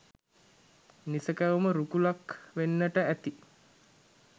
නිසැකවම රුකුලක් වෙන්නට ඇති.